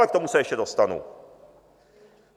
Ale k tomu se ještě dostanu.